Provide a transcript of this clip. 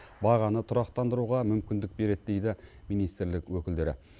бағаны тұрақтандыруға мүмкіндік береді дейді министрлік өкілдері